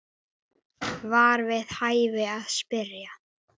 var við hæfi að spyrja.